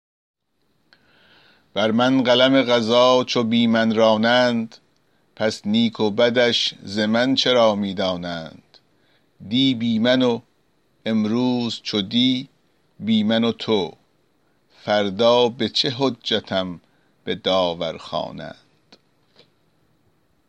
بر من قلم قضا چو بی من رانند پس نیک و بدش ز من چرا می دانند دی بی من و امروز چو دی بی من و تو فردا به چه حجتم به داور خوانند